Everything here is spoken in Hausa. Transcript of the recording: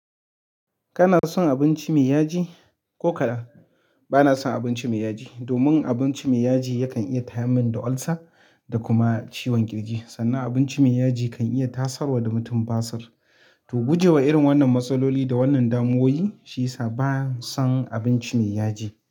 Kana son abinci mai yaji? Ko kaɗan bana son abinci mai yaji domin abinci mai yaji yakan iya tayar min da ulcer da kuma ciwon ƙirji. Sannan abinci mai yaji kan iya tasarwa da mutum basir. To guje wa irin wannan matsaloli da wannan damuwoyi, shi ya sa ban son abinci mai yaji.